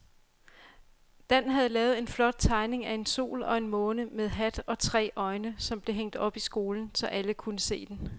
Dan havde lavet en flot tegning af en sol og en måne med hat og tre øjne, som blev hængt op i skolen, så alle kunne se den.